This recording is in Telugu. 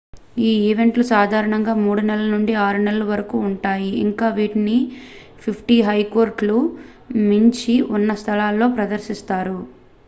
ఈ ఈవెంట్లు సాధారణంగా 3 నెలల నుండి 6 నెలల వరకూ ఉంటాయి ఇంకా వీటిని 50 హెక్టార్లకు మించి ఉన్న స్థలాలలో ప్రదర్శిస్తారు